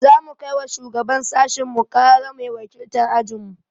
Za mu kai wa shugaban sashinmu ƙarara mai wakiltar ajinmu.